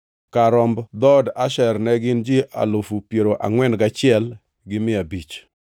Kar romb dhood Asher ne gin ji alufu piero angʼwen gachiel gi mia abich (41,500).